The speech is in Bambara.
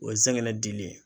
O ye zɛgɛnɛ dili ye